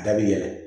A bɛ yɛlɛ